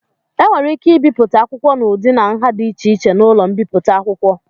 E nwere ike ibipụta akwụkwọ n'ụdị na nha dị iche iche n'ụlọ mbipụta akwụkwọ.